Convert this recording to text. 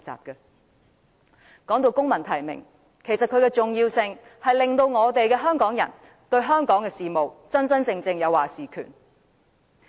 說到公民提名，其重要性在於讓香港人對香港的事務有真正的"話事權"。